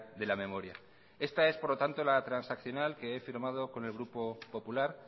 de la memoria esta es por lo tanto la transaccional que he firmado con el grupo popular